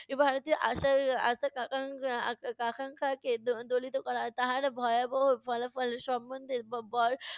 ভারতের আশার আশা আকা~ আকা~ আকাঙ্খাকে দলিত করা হয় তবে তাহার ভয়াবহ ফলাফল সম্বন্ধে